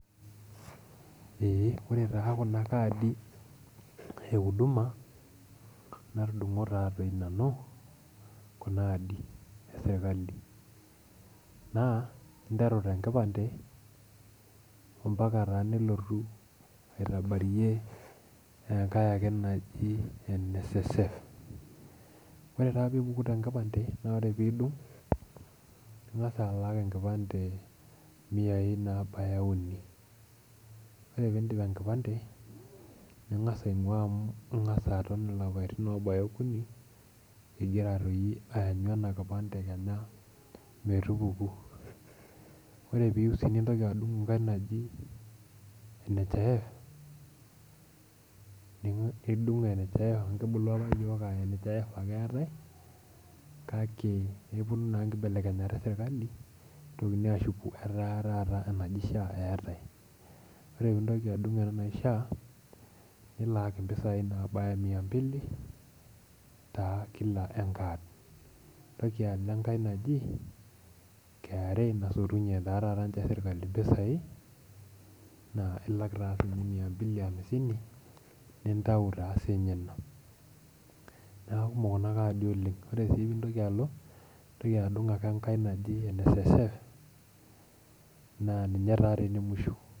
Eeh ore taa kuna kaadi euduma natudung'o taatoi nanu kuna aadi esirkali naa interu tenkipande ompaka taa nilotu aitabarie enkae ake naji NSSF ore taa piipuku tenkipande naa ore piidung ning'as alak enkipande imiyai naabaya uni ore piindip enkipande ning'as aing'ua amu ing'asa aton ilapaitin obaya okuni igira toi ayanyu ena kipande kenya metupuku ore piyieu sii nintoki adung enkae naji NHIF nidung NHIF amu kibulu apa yiok aa NHIF ake eetae kake neponu naa inkibelekenyat esirkali nitokini ashuku etaa taata enaji SHA eetae ore pintoki adung ena naji SHA nilaaki impisai naabaya mia mbili taa kila enkad nintoki alo enkae naji KRA naa ilak taa sinye mia mbili hamsini nintau taa siinye ina niaku kumok kuna kaadi oleng ore sii pintoki alo nintoki adung enkae ake naji NSSF naa ninye taa tee ene musho.